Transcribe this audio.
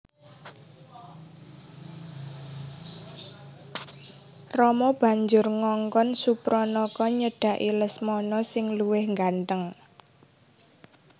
Rama banjur ngongkon Supranaka nyedhaki Lesmana sing luwih gantheng